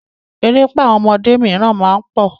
Erépá àwọn ọmọdé míràn má ń pọ̀.